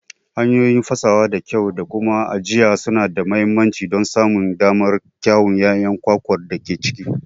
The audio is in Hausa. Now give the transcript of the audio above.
Hanyoyi fasawa da kyau da kuma ajiya suna da mahimmanci don samun damar kyawun ƴaƴan kwakwar da ke ciki.